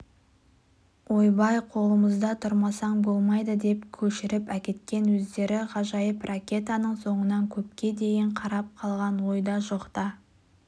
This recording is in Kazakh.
ойбай қолымызда тұрмасаң болмайды деп көшіріп әкеткен өздері ғажайып ракетаның соңынан көпке дейін қарап қалған ойда-жоқта